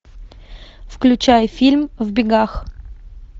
включай фильм в бегах